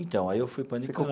Então, aí eu fui para a